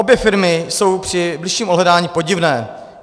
Obě firmy jsou při bližším ohledání podivné.